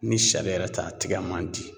Ni sari yɛrɛ tɛ a tigɛ man di.